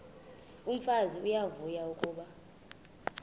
umfazi uyavuya kuba